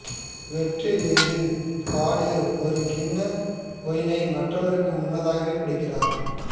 வெற்றி விருந்தில் படு ஒரு கிண்ண ஒயினை மற்றவர்களுக்கு முன்னதாகவே குடிக்கிறார்